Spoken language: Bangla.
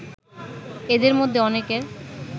এদের মধ্যে অনেকের